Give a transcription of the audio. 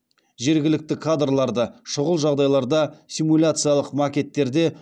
жергілікті кадрларды шұғыл жағдайларда симуляциялық макеттерде